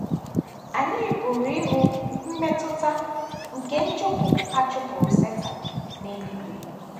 Anyị pụrụ ịhụ mmetụta nke nchụpụ a chụpụrụ Setan n’eluigwe.